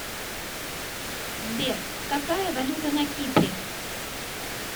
сбер какая валюта на кипре